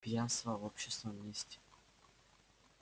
пьянство в общественном месте